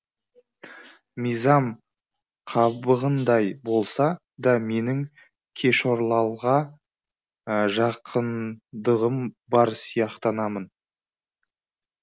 мизам қабығындай болса да менің кешорлалға жақындығым бар сияқтанатын